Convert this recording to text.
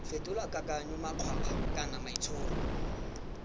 fetola kakanyo makgwakgwa kana maitsholo